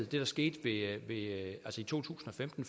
der skete i to tusind og femten